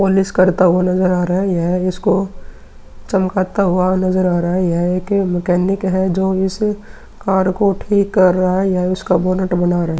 Polish करता हुआ नजर आ रहा है। यह इसको चमकाता हुआ नजर आ रहा है। यह एक मैकेनिक है जो इस कार्य को ठीक कर रहा है या इसका बोनट बना रहा है।